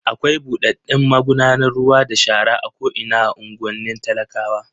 Akwai buɗaɗɗen magudanar ruwa da shara a ko'ina a unguwannin talakawa.